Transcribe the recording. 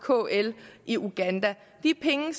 kl i uganda de penge